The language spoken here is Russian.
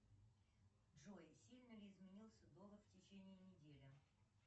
джой сильно ли изменился доллар в течении недели